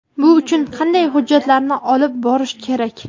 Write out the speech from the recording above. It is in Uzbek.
Bu uchun qanday hujjatlarni olib borish kerak?.